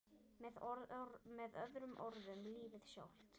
Með öðrum orðum lífið sjálft.